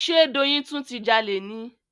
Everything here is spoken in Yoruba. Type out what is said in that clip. Ṣe Doyin tún ti jalè ni?